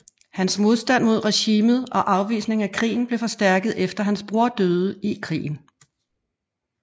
Hans modstand mod regimet og afvisning af krigen blev forstærket efter at hans broder døde i krigen